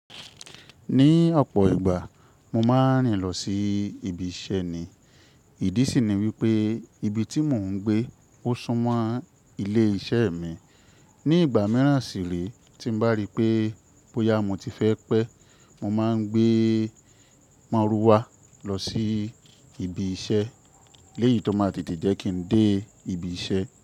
Ní ọ̀pọ̀ ìgbà, mo máa ń rìn lọ sí ibi iṣẹ́ ni. Ìdí sì ni wípé ibi tí mò ń gbé ó súmọ́ ilé iṣẹ́ mi. Ní ìgbà mìíràn sì re, tí ń bá rí pé bóyá mo ti fẹ́ pẹ́, mo máa ń gbé maruwá lọ sí ibi iṣẹ́ léyìí tó máa tètè jẹ́ kí n dé ibi iṣẹ́.